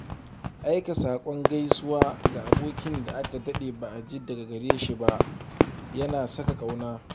Aika saƙon gaisuwa ga abokin da aka daɗe ba a ji daga gare shi ba yana saka ƙauna.